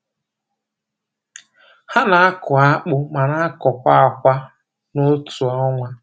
Ha na-akụ akpụ ma na-akọkwa akwa n’otu ọnwa.